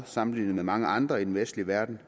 sammenlignet med mange andre i den vestlige verden